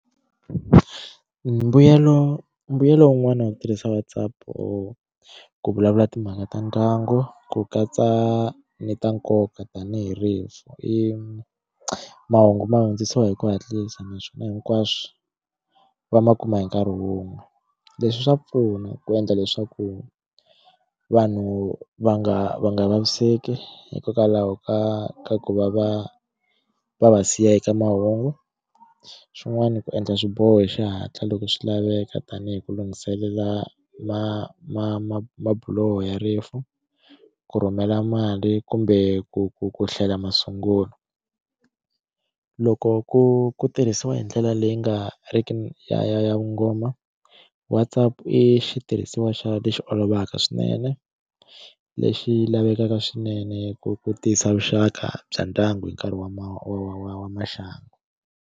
Mbuyelo mbuyelo wun'wana wa ku tirhisa WhatsApp o ku vulavula timhaka ta ndyangu ku katsa ni ta nkoka tanihi rifu i mahungu ma hundzisiwa hi ku hatlisa naswona hinkwaswo va ma kuma hi nkarhi wun'we leswi swa pfuna ku endla leswaku vanhu va nga va nga vaviseki hikokwalaho ka ku va va va va siya eka mahungu xin'wani ku endla swiboho hi xihatla loko swi laveka tanihi ku lunghiselela ma ma ma mabuloho ya rifu ku rhumela mali kumbe ku ku ku hlela masungulo loko ku ku tirhisiwa hi ndlela leyi nga ri ki yo kongoma WhatsApp i xitirhisiwa xa lexi olovaka swinene lexi lavekaka swinene ku tiyisa vuxaka bya ndyangu hi nkarhi wa maxangu.